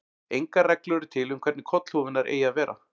Engar reglur eru til um hvernig kollhúfurnar eigi að vera.